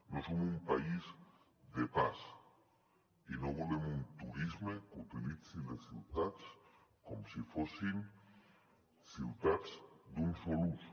no som un país de pas i no volem un turisme que utilitzi les ciutats com si fossin ciutats d’un sol ús